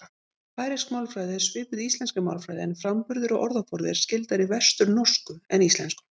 Færeysk málfræði er svipuð íslenskri málfræði en framburður og orðaforði er skyldari vesturnorsku en íslensku.